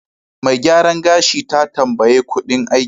Mai gyaran gashi ta tambaye kuɗin aikin.